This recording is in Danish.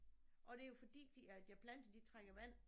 Og det jo fordi de deres planter de trækker vand